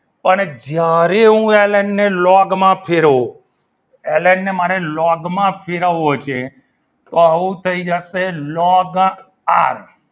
પણ જ્યારે હું બ્લોગ માપ લવ એને મારી લોકમાં ફેરવવું હોય તો આવું થઈ જશે લોગ આર